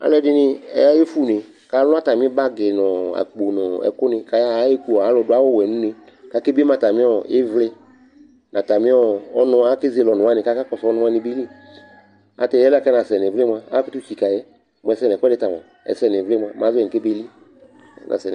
Alʋɛdɩnɩ ayefue une kʋ alʋ atamɩ bagɩ nʋ ɔ akpo nʋ ɛkʋnɩ kʋ ayaɣa Aɣa eku alʋdʋ awʋwɛ nʋ une kʋ akebie ma atamɩ ɩvlɩ nʋ atamɩ ɔnʋ wa, akezele ɔnʋ wanɩ kʋ akakɔsʋ ɔnʋ wanɩ bɩ li Ata yɛ kʋ ɛnasɛ nʋ ɩvlɩ mʋa, amakʋtʋ tsikǝ yɛ Mʋ ɛsɛ nʋ ɛkʋɛdɩ ta mʋa, mʋ ɛsɛ nʋ ɩvlɩ mʋa, mɛ azɔ yɛ nʋ kɛbeli